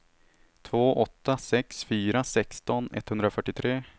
två åtta sex fyra sexton etthundrafyrtiotre